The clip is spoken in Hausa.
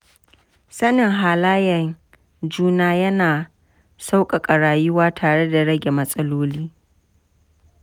Sanin halayen juna yana sauƙaƙa rayuwa tare da rage matsaloli.